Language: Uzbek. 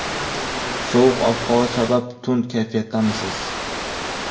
Sovuq ob-havo sabab tund kayfiyatdamisiz?